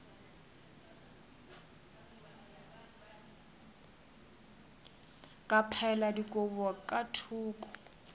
ka phaela dikobo ka thoko